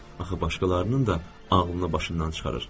Axı başqalarının da ağlını başından çıxarır.